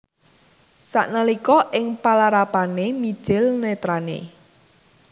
Sanalika ing palarapané mijil nètrané